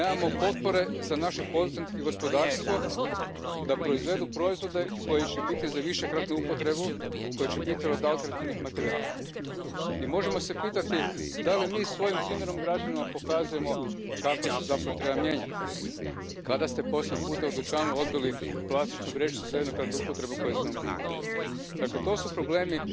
At the very least, voting on this topic should be delayed until a scientific report is to hand. In my own speciality, of UK agriculture, hundreds of hectares of land are covered in plastic as a frost protection. It can be heavily contaminated with soil when it is removed a few months later, making disposal a major problem. If it was oxo degradable it could be removed to a building and allowed virtually to disappear.